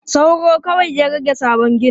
Sauro kawai ya rage sabon ginin.